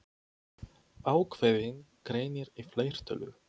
Ákveðinn greinir í fleirtölu.